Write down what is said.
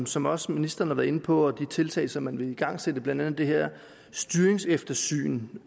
som også ministeren har været inde på og de tiltag som man vil igangsætte blandt andet det her styringseftersyn